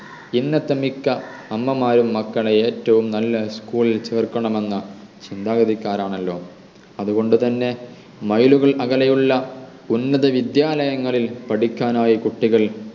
ഇന്നത്തെ മിക്ക അമ്മമാരും മക്കളെ ഏറ്റവും നല്ല school ൽ ചേർക്കണം എന്ന ചിന്താഗതിക്കാർ ആണല്ലോ അതുകൊണ്ടു തന്നെ mile കൾ അകലെ ഉള്ള ഉന്നത വിദ്യാലയങ്ങളിൽ പഠിക്കാനായി കുട്ടികൾ